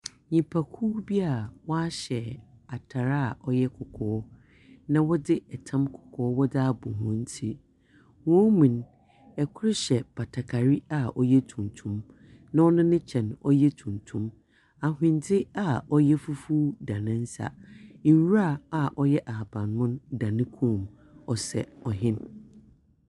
Nnipakuw bi a wɔahyɛ atar a ɔyɛ kɔkɔɔ, na wɔdze tam kɔkɔɔ wɔdze abɔ hɔn tsir. Hɔn mu no, ɔkoro hyɛ batakari a ɔyɛ tuntum, na ɔno ne kyɛ no ɔyɛ tuntum. Ahwendze a ɔyɛ fufuo da ne nsa. Nwura a ɔyɛ ahaban mono da ne kɔn mu. Ɔsɛ ɔhen.